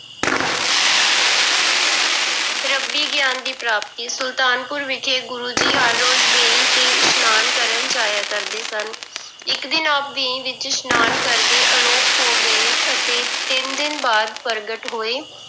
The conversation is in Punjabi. ਰੱਬੀ ਗਿਆਨ ਦੀ ਪ੍ਰਾਪਤੀ, ਸੁਲਤਾਨਪੁਰ ਵਿਖੇ ਗੁਰੂ ਜੀ ਹਰ ਰੋਜ਼ ਵੇਈ ਤੇ ਇਸ਼ਨਾਨ ਕਰਨ ਜਾਇਆ ਕਰਦੇ ਸਨ ਇੱਕ ਦਿਨ ਆਪ ਵੇਈ ਵਿੱਚ ਇਸ਼ਨਾਨ ਕਰਦੇ ਆਲੋਪ ਹੋ ਗਏ ਅਤੇ ਤਿੰਨ ਦਿਨ ਬਾਅਦ ਪ੍ਰਗਟ ਹੋਏ।